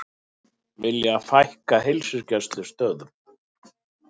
Vilja fækka heilsugæslustöðvum